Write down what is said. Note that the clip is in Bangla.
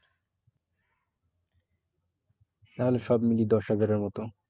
তাহলে সব মিলিয়ে দশ হাজারের মতো।